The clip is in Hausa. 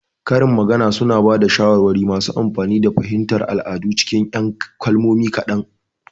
Karin magana suna ba da shawarwari masu amfani da fahimtar al'adu cikin 'yan kalmomi kaɗan.